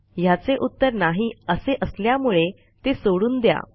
ह्याचे उत्तर नाही असे असल्यामुळे ते सोडून द्या